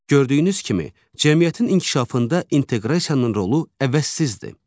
Gördüyünüz kimi, cəmiyyətin inkişafında inteqrasiyanın rolu əvəzsizdir.